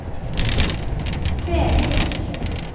Fevik